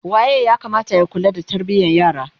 waye ya Kamata ya kula da tarbiyan yara?